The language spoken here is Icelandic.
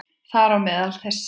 Þar á meðal þessir